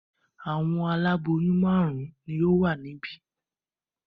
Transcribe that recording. Àwọn aláboyún márùn-ún ni ó wà níbí.